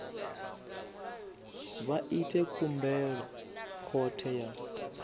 vha ite khumbelo khothe ya